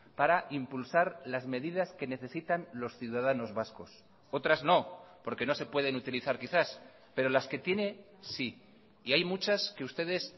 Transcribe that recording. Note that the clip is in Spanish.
para impulsar las medidas que necesitan los ciudadanos vascos otras no porque no se pueden utilizar quizás pero las que tiene sí y hay muchas que ustedes